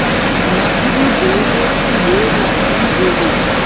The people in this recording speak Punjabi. ਨੱਥ ਵੀ ਦੇ ਦੇ ਧੀਏ ਨੱਥ ਵੀ ਦੇ ਦੇ